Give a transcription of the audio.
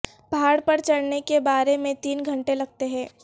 پہاڑ پر چڑھنے کے بارے میں تین گھنٹے لگتے ہیں